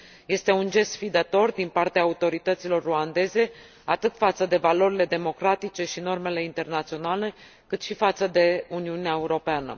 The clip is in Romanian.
Este un gest sfidător din partea autorităților ruandeze, atât față de valorile democratice și normele internaționale cât și față de Uniunea Europeană.